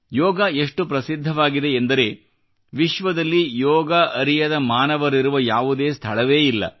ಯೋಗ ಎಷ್ಟು ಪ್ರಸಿದ್ಧವಾಗಿದೆ ಎಂದರೆ ವಿಶ್ವದಲ್ಲಿ ಯೋಗ ಅರಿಯದ ಮಾನವರಿರುವ ಯಾವುದೇ ಸ್ಥಳವೇ ಇಲ್ಲ